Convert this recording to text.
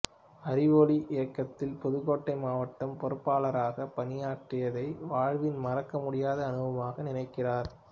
அறிவொளி இயக்கத்தில் புதுக்கோட்டை மாவட்டப் பொறுப்பாளராக பணியாற்றியதை வாழ்வின் மறக்க முடியாத அனுபவமாக நினைக்கிறார்